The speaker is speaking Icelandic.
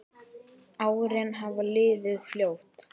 Árin hafa liðið fljótt.